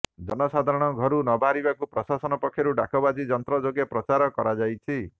ଜନ ସାଧାରଣ ଘରୁ ନବାହାରିବାକୁ ପ୍ରଶାସନ ପକ୍ଷରୁ ଡାକବାଜି ଯନ୍ତ୍ର ଯୋଗେ ପ୍ରଚାର କରାଯାଇଛି